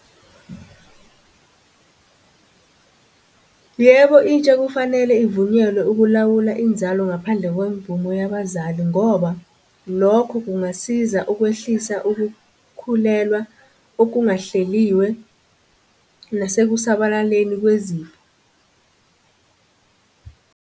Yebo, intsha kufanele ivunyelwe ukulawula inzalo ngaphandle kwemvume yabazali ngoba lokho kungasiza ukwehlisa ukukhulelwa okungahleliwe nasekusabalaleni kwezifo .